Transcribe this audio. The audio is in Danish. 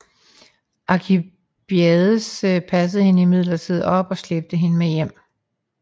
Alkibiades passede hende imidlertid op og slæbte hende med hjem